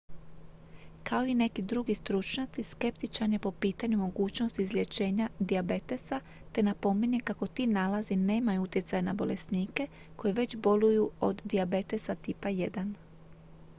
kao i neki drugi stručnjaci skeptičan je po pitanju mogućnosti izlječenja dijabetesa te napominje kako ti nalazi nemaju utjecaj na bolesnike koji već boluju od dijabetesa tipa 1